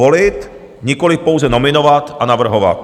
Volit, nikoliv pouze nominovat a navrhovat.